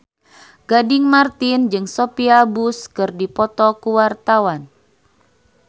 Gading Marten jeung Sophia Bush keur dipoto ku wartawan